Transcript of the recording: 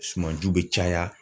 Sumanju bɛ caya.